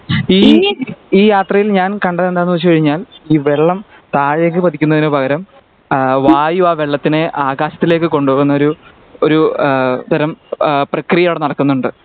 ഈ ഈ യാത്രയിൽ ഞാൻ കണ്ടെതെന്താണ് വെച്ച് കഴിഞ്ഞാൽ ഈ വെള്ളം താഴേക്ക് പതിക്കുന്നതിന് പകരം അഹ് വായു ആ വെള്ളത്തിനെ ആകാശത്തിലേക്കു കൊണ്ടുപോകുന്ന ഒരു ഒരു ഏഹ് തരം ആഹ് പ്രക്രിയ അവിടെ നടക്കുന്നുണ്ട്